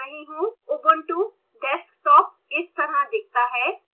ubuntu desktop इस तरह दिखता है